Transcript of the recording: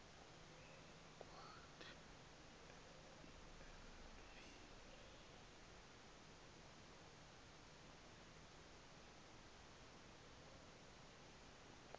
kwathi en v